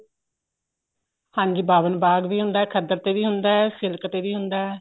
ਹਾਂਜੀ ਬਾਵਨ ਬਾਗ ਵੀ ਹੁੰਦਾ ਏ ਖਦਰ ਤੇ ਵੀ ਹੁੰਦਾ ਏ ਸਿਲਕ ਤੇ ਵੀ ਹੁੰਦਾ ਏ